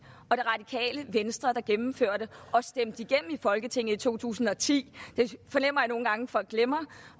og det radikale venstre der gennemførte og stemte igennem folketinget i to tusind og ti det fornemmer jeg nogle gange folk glemmer